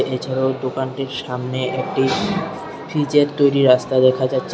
এছাড়াও দোকানটির সামনে একটি পিচের তৈরি রাস্তা দেখা যাচ্ছে।